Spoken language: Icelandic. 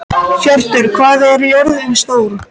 Hjörtur, hvað er jörðin stór?